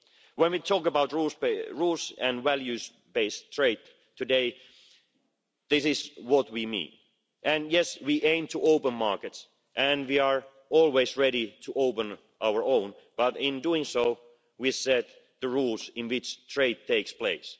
When we talk about rules and values based trade today, this is what we mean and yes we aim to open markets and we are always ready to open our own, but in doing so we set the rules in which trade takes place.